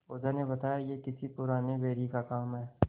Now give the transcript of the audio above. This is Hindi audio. ओझा ने बताया यह किसी पुराने बैरी का काम है